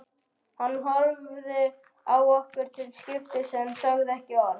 Hann horfði á okkur til skiptis en sagði ekki orð.